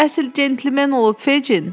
Bu əsil centlmen olub Feçin.